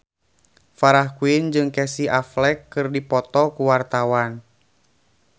Farah Quinn jeung Casey Affleck keur dipoto ku wartawan